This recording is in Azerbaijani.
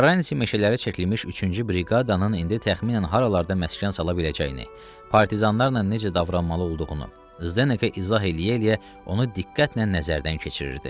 Karranti meşələrə çəkilmiş üçüncü briqadanın indi təxminən haralarda məskən sala biləcəyini, partizanlarla necə davranmalı olduğunu Zdeke izah eləyə-eləyə onu diqqətlə nəzərdən keçirirdi.